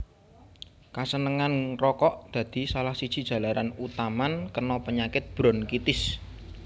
Kasenengan ngrokok dadi salah siji jalaran utaman kena penyakit bronkitis